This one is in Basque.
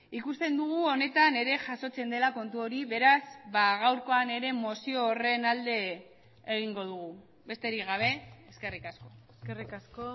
ikusten dugu honetan ere jasotzen dela kontu hori beraz gaurkoan ere mozio horren alde egingo dugu besterik gabe eskerrik asko eskerrik asko